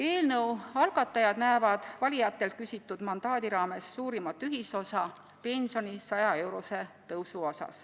Eelnõu algatajad näevad valijatelt küsitud mandaadi raames suurimat ühisosa pensioni 100-euroses tõusus.